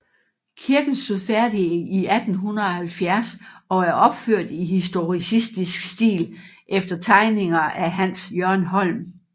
Kirken stod færdig i 1870 og er opført i historicistisk stil efter tegninger af Hans Jørgen Holm